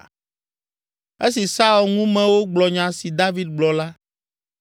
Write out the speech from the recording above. Esi Saul ŋumewo gblɔ nya si David gblɔ la,